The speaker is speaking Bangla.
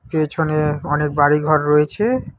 পেছনে অনেক বাড়ি ঘর রয়েছে।